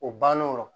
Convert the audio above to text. O bann'o